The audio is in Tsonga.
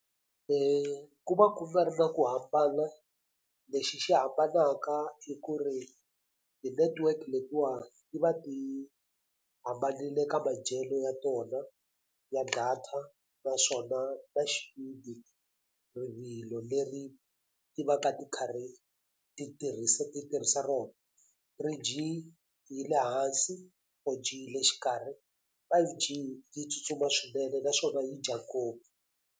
Ku va ku nga ri na ku hambana lexi xi hambanaka i ku ri ti-network letiwa ti va ti hambanile ka madyelo ya tona ya data naswona ta xipidi rivilo leri ti va ka ti karhi ti tirhisa ti tirhisa rona three-G yi le hansi four-G yi le xikarhi five-G yi tsutsuma swinene naswona yi dya ngopfu.